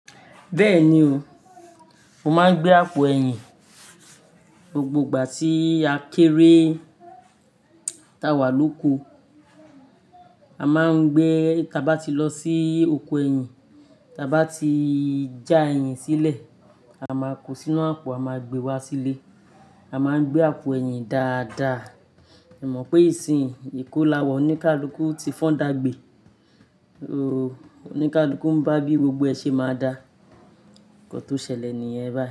Bẹ́ẹ̀ni o, mo máa ń gbé àpò ẹ̀yìn. Gbogbo ìgbà tí a kéré táwà lóko, a máa ń gbé, tí a bá ti lọ sí oko ẹ̀yìn, tí a bá ti já ẹ̀yìn sílẹ̀, a máa kó sínú àpò a máa gbe wá sílé. A máa ń gbé àpò ẹ̀yìn dáadáa. Ẹ mọ̀ pé ìsìn ìkolàwọ̀ oníkálukú ti fọ́n dagbe. Ooo, oníkálukú ń bá bí gbogbo ẹṣe máa dá. Nkàn tó ṣẹlẹ̀ nìyẹn báyìí.